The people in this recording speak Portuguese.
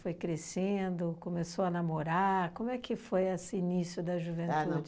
crescendo, começou a namorar, como é que foi esse início da juventude?